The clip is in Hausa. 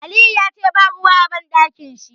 Aliyu yace ba ruwa a Banɗakin shi.